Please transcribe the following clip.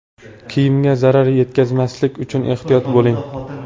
Kiyimga zarar yetkazmaslik uchun ehtiyot bo‘ling.